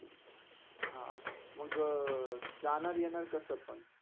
अं मग जाणार - येणार कसा पण?